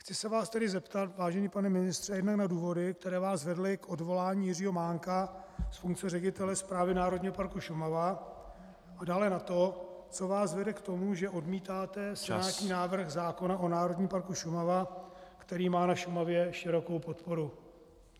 Chci se vás tedy zeptat, vážený pane ministře, jednak na důvody, které vás vedly k odvolání Jiřího Mánka z funkce ředitele Správy Národního parku Šumava, a dále na to, co vás vede k tomu, že odmítáte senátní návrh zákona o Národním parku Šumava, který má na Šumavě širokou podporu.